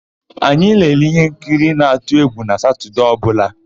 Anyị na-ele íhénkiri na-atụ égwù na Satọdee ọbụla.